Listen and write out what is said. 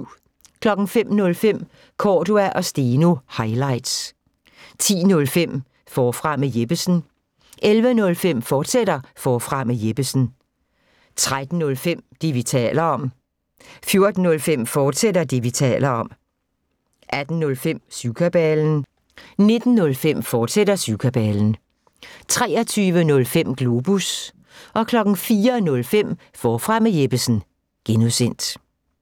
05:05: Cordua & Steno – highlights 10:05: Forfra med Jeppesen 11:05: Forfra med Jeppesen, fortsat 13:05: Det, vi taler om 14:05: Det, vi taler om, fortsat 18:05: Syvkabalen 19:05: Syvkabalen, fortsat 23:05: Globus 04:05: Forfra med Jeppesen (G)